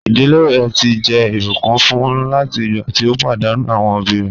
Iḍilẹ̀ rẹ̀ ti jẹ́ ibùkún fún láti igbà tí o padànù awọn obì rẹ̀.